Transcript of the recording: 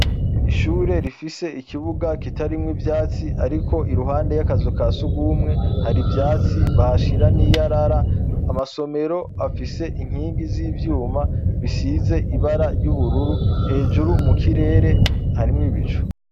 Ishure rifise ikibuga kitarimwo ivyatsi Ariko iruhande y'akazu ka sugumwe hari ivyatsi bahashira niyarara amasomero afise inkingi z'ivyuma bisize ibara ry'ubururu hejuru mukire re harimwo ibicu.